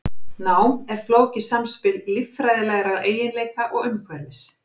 Nám er flókið samspil líffræðilegra eiginleika og umhverfis.